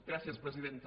gràcies presidenta